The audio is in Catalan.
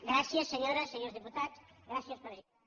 gràcies senyores senyors diputats gràcies presidenta